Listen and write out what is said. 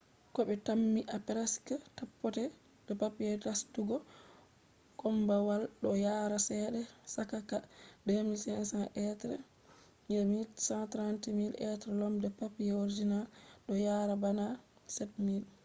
kobe tammi kusan pat paper nastugo kombawal do yara chede chaka ¥2,500 be ¥130,000 be asali paper man do yara bana ¥7,000